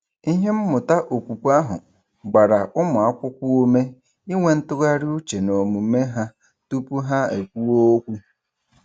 Ihe mmụta okwukwe ahụ gbara ụmụakwụkwọ ume inwe ntụgharị uche n’omume ha tụpụ ha ekwuo okwu.